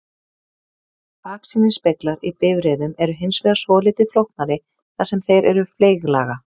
baksýnisspeglar í bifreiðum eru hins vegar svolítið flóknari þar sem þeir eru fleyglaga